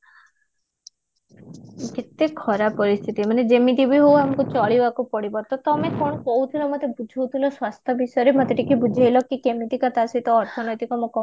କେତେ ଖରାପ ପରିସ୍ଥିତି ମାନେ ଯେମିତି ବି ହୋଉ ଆମକୁ ଚଳିବାକୁ ପଡିବ ତ ତମେ କଣ କହୁଥିଲ ମତେ ବୁଝାଉଥିଲ ସ୍ୱାସ୍ଥ୍ୟ ବିଷୟରେ ମତେ ଟିକେ ବୁଝେଇଲ କି କେମିତିକା ତା ସହିତ ଅର୍ଥନୈତିକମୁଁ